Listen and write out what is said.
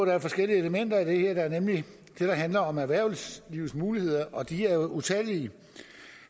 er forskellige elementer i det her der er nemlig det der handler om erhvervslivets muligheder og de er utallige